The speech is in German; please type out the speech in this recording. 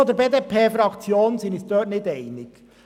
In der BDP-Fraktion sind wir uns in diesem Punkt nicht einig.